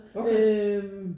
Okay